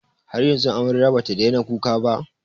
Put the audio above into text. Har yanzu amaryar ba ta daina kuka ba?